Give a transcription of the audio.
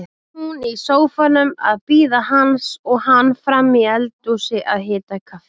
Hún í sófanum að bíða hans og hann frammi í eldhúsi að hita kaffi.